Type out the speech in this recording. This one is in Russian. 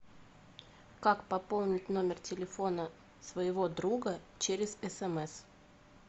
как пополнить номер телефона своего друга через смс